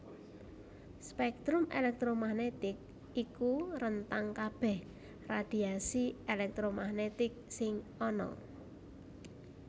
Spektrum elektromagnetik iku rentang kabèh radhiasi elektromagnetik sing ana